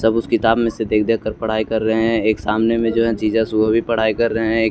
सब उस किताब में से देख देख कर पढ़ाई कर रहे हैं एक सामने में जो है जीजा सुबह भी पढ़ाई कर रहे हैं एक --